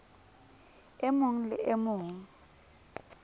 e mong le e mong